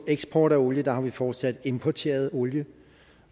eksport af olie har vi fortsat importeret olie